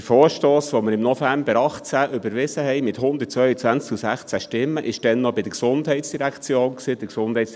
Der Vorstoss, den wir im November 2018 mit 122 zu 16 Stimmen im November 2018 überwiesen hatten , war damals noch bei der Gesundheitsdirektion (GEF).